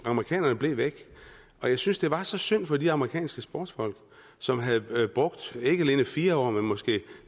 amerikanerne blev væk og jeg synes det var så synd for de amerikanske sportsfolk som havde brugt ikke alene fire år men måske